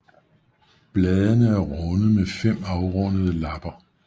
Bladene er runde med fem afrundede lapper